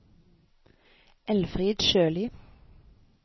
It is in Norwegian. Elfrid Sjølie